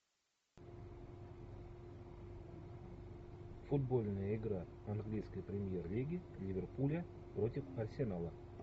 футбольная игра английской премьер лиги ливерпуля против арсенала